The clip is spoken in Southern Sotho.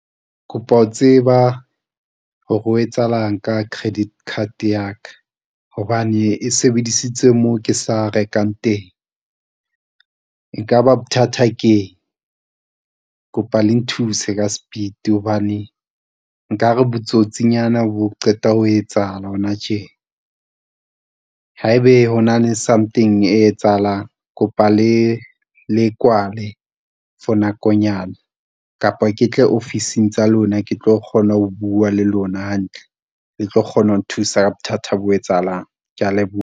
Kopa ho tseba hore ho etsahalang ka credit card ya ka hobane e sebedisitswe moo ke sa rekang teng. E kaba bothata keng kopa le nthuse ka sepiti hobane nkare botsotsinyana bo qeta ho etsahala hona tje. Haebe ho na le something e etsahalang, kopa le le kwale for nakonyana kapa ke tle ofising tsa lona, ke tlo kgona ho bua le lona hantle, le tlo kgona ho nthusa ka bothata bo etsahalang. Kea leboha.